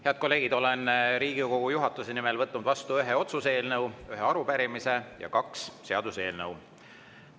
Head kolleegid, olen Riigikogu juhatuse nimel võtnud vastu ühe otsuse eelnõu, ühe arupärimise ja kaks seaduseelnõu.